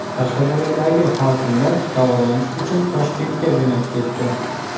Qashqadaryodagi hokimlar davolanish uchun Toshkentga jo‘nab ketdi.